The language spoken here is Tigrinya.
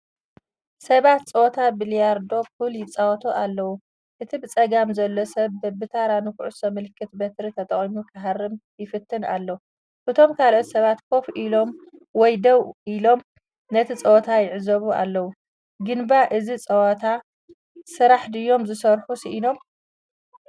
ሰባት ጸወታ ቢልያርዶ/ፑል ይጻወቱ ኣለዉ። እቲ ብጸጋም ዘሎ ሰብ በብተራ ንኹዕሶ ምልክት በትሪ ተጠቒሙ ክሃርም ይፍትን ኣሎ። እቶም ካልኦት ሰባት ኮፍ ኢሎም ወይ ደው ኢሎም፡ ነቲ ጸወታ ይዕዘቡ ኣለዉ። ግንባ እዚ ዝፃወቱ ስራሕ ድዮም ዝስራሕ ሲኢኖም?